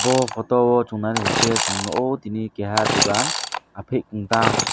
bo photo o chung nainaisikhe chung nukgo tini keha dogan ahphik ungtang.